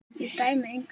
Ég dæmi engan.